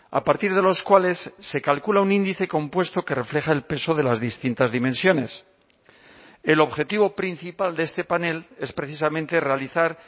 a partir de los cuales se calcula un índice compuesto que refleja el peso de las distintas dimensiones el objetivo principal de este panel es precisamente realizar